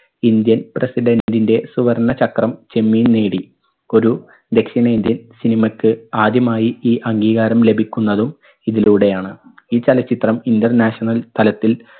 indian president ന്റെ സുവർണ്ണ ചക്രം ചെമ്മീൻ നേടി. ഒരു ദക്ഷിണേന്ത്യൻ cinema ക്ക് ആദ്യമായി ഈ അംഗീകാരം ലഭിക്കുന്നതും ഇതിലൂടെയാണ്. ഈ ചലച്ചിത്രം international തലത്തിൽ